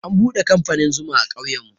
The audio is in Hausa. An buɗe kamfanin zuma a ƙauyen mu.